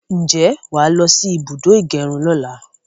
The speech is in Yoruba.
Ǹjẹ́ wàá lọsí ibùdó ìgẹrun lọ́la?